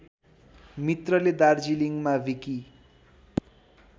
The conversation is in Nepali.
मित्रले दार्जिलिङमा विकि